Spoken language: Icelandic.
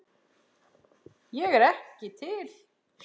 Ég er ekki til.